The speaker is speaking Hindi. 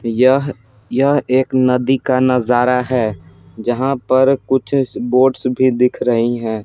यह यह एक नदी का नजारा है जहाँ पर कुछ बोट्स भी दिख रही हैं।